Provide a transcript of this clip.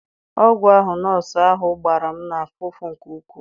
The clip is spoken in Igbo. Ọgwụ ahụ nọọsụ ahụ gbara m na-afụ ụfụ nke ukwuu.